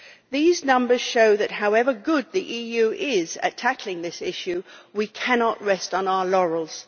These numbers show that however good the EU is at tackling this issue, we cannot rest on our laurels.